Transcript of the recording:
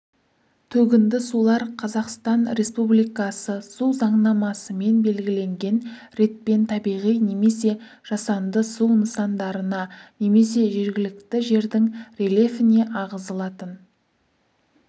төгінді сулар қазақстан республикасы су заңнамасымен белгіленген ретпен табиғи немесе жасанды су нысандарына немесе жергілікті жердің рельефіне ағызылатын